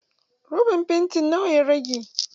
Roban fanti nawa ya rage?